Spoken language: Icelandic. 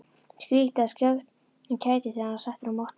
Skríkti af kæti þegar hann var settur á mottuna.